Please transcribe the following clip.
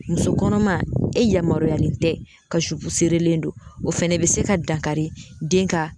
Muso kɔnɔma e yamaruyalen tɛ ka zupu serelen don o fɛnɛ be se ka dankari den ka